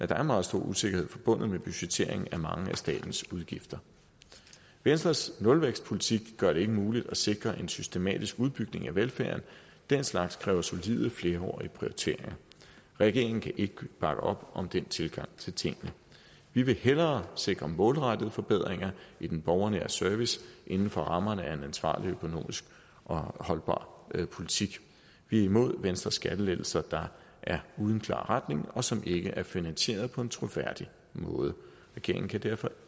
der er meget stor usikkerhed forbundet med budgettering af mange af statens udgifter venstres nulvækstpolitik gør det ikke muligt at sikre en systematisk udbygning af velfærden den slags kræver solide flerårige prioriteringer regeringen kan ikke bakke op om den tilgang til tingene vi vil hellere sikre målrettede forbedringer i den borgernære service inden for rammerne af en ansvarlig økonomisk holdbar politik vi er imod venstres skattelettelser der er uden klar retning og som ikke er finansieret på en troværdig måde regeringen kan derfor